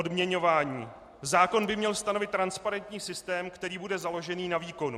Odměňování: zákon by měl stanovit transparentní systém, který bude založený na výkonu.